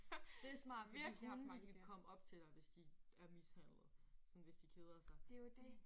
Det er smart fordi hunde de kan komme op til dig hvis de er mishandlede. Sådan hvis de keder sig